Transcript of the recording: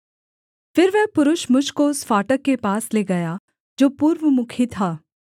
फिर वह पुरुष मुझ को उस फाटक के पास ले गया जो पूर्वमुखी था